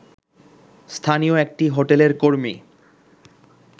স্থানীয় একটি হোটেলের কর্মী